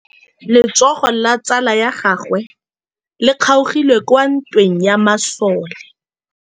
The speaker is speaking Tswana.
Letsôgô la tsala ya gagwe le kgaogile kwa ntweng ya masole.